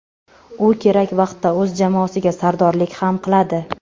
U kerak vaqtda o‘z jamoasiga sardorlik ham qiladi.